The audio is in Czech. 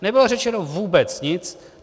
Nebylo řečeno vůbec nic.